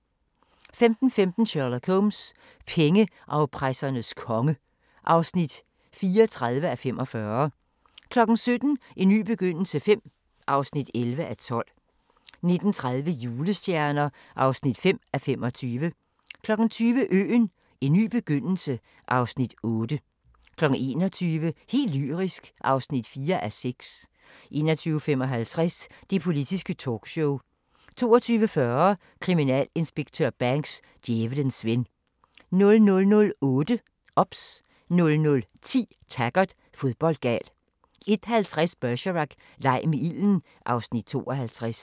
15:15: Sherlock Holmes: Pengeafpressernes konge (34:45) 17:00: En ny begyndelse V (11:12) 19:30: Julestjerner (5:25) 20:00: Øen - en ny begyndelse (Afs. 8) 21:00: Helt lyrisk (4:6) 21:55: Det Politiske Talkshow 22:40: Kriminalinspektør Banks: Djævelens ven 00:08: OBS 00:10: Taggart: Fodboldgal 01:50: Bergerac: Leg med ilden (Afs. 52)